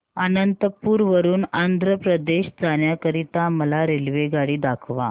अनंतपुर वरून आंध्र प्रदेश जाण्या करीता मला रेल्वेगाडी दाखवा